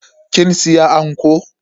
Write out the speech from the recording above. Kin siya anko?